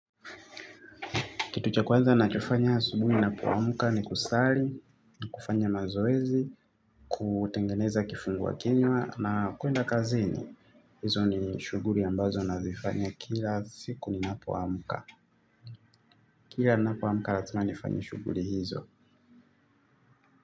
Kitu cha kwanza nachofanya asubuhi napoamuka ni kusali, ni kufanya mazoezi, kutengeneza kifunguwa kinywa na kuenda kazini. Hizo ni shuguri ambazo nazifanya kila siku ninapoamuka. Kila ninapoamuka razima nifanye shuguri hizo.